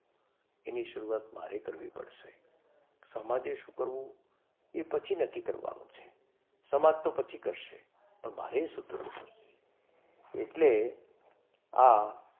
એની શરૂઆત મારે કરવી પડશે. સમાજે શું કરવું એ પછી નક્કી કરવાનું છે. સમાજ તો પછી કરશે પણ મારે શું કરવું પડશે. એટલે આ,